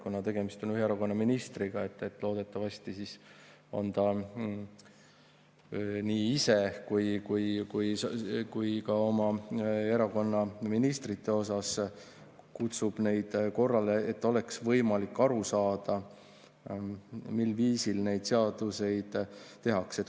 Kuna tegemist on ühe erakonna ministriga, siis loodetavasti ta nii ise kui ka kutsub oma erakonna ministreid korrale, et oleks võimalik aru saada, mil viisil neid seadusi tehakse.